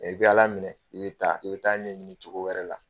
i bɛ Ala minɛ, i bɛ taa. I bɛ taa ɲɛ ɲini cogo wɛrɛ la.